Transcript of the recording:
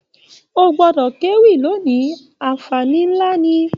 O gbọdọ kewi lóni, anfààní nlá ní!